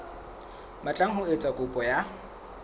batlang ho etsa kopo ya